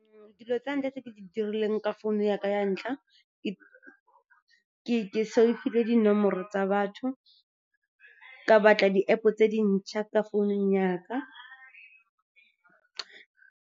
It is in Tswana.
Dilo tse ntlha tse ke di dirileng ka founu ya ka ya ntlha, ke save-ile dinomoro tsa batho, ka batla di-App-o tse dintšha tsa founung ya ka.